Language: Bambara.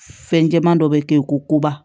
Fɛn jɛman dɔ bɛ kɛ koba